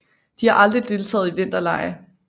De har aldrig deltaget i vinterlege